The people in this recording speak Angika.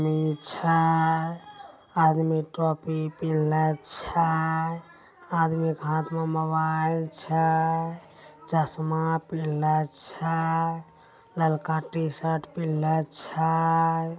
ये छा । आदमी ट्रॉफी पिल्लर्छा । आदमी का हाथ मा मोबाइल छा । चसमा पिलाछा । लड़का टिशरट पेरल्छा ।